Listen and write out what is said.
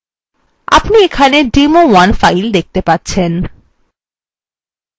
আপনি এখানে demo1 file দেখতে পাচ্ছেন